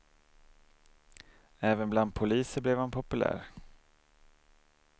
Även bland poliser blev han populär.